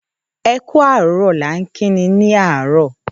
‘E̩ kú àárò̩’ ni a ń kí ni ní àárò̩